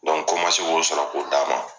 kɔ n man se k'o sɔrɔ k'o d'a ma.